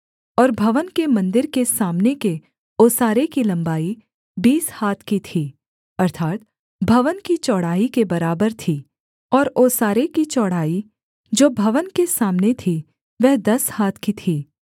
और भवन के मन्दिर के सामने के ओसारे की लम्बाई बीस हाथ की थी अर्थात् भवन की चौड़ाई के बराबर थी और ओसारे की चौड़ाई जो भवन के सामने थी वह दस हाथ की थी